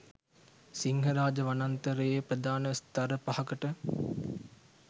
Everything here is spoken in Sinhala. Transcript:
සිංහරාජ වනාන්තරයේ ප්‍රධාන ස්ථර පහකට